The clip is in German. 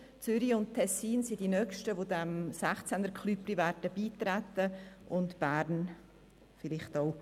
Zürich und Tessin sind die nächsten, die diesen 16 Kantonen folgen werden, Bern je nach dem vielleicht auch.